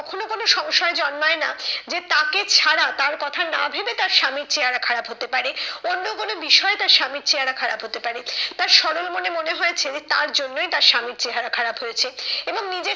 কোনো সংশয় জন্মায় না যে তাকে ছাড়া তার কথা না ভেবে তার স্বামীর চেহারা খারাপ হতে পারে। অন্য কোনো বিষয়ে তার স্বামীর চেহারা খারাপ হতে পারে। তার সরল মনে মনে হয়েছে যে তার জন্যই তার স্বামীর চেহারা খারাপ হয়েছে এবং নিজের